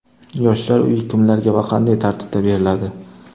Yoshlar uyi kimlarga va qanday tartibda beriladi?